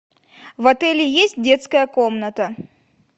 в отеле есть детская комната